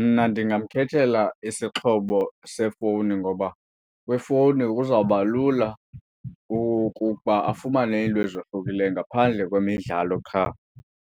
Mna ndingamkhethelela isixhobo sefowuni ngoba kwifowuni kuzawuba lula ukuba afumane iinto ezohlukileyo ngaphandle kwemidlalo qha.